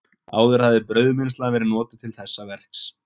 Áður hafði brauðmylsna verið notuð til þessa verks.